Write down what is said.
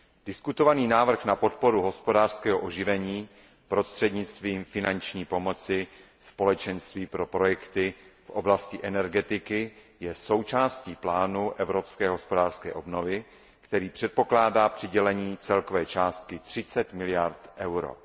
Diskutovaný návrh na podporu hospodářského oživení prostřednictvím finanční pomoci Společenství pro projekty v oblasti energetiky je součástí plánu evropské hospodářské obnovy, který předpokládá přidělení celkové částky 30 miliard EUR.